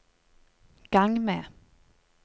gang med